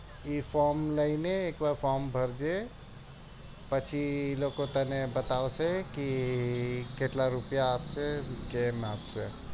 એ from લઈને ત્યાં from ભરજે પછી એ લોકો તને બતાવશે ક કેટલા એ લોકો કેટલા રૂપિયા અપસે કેમ અપસે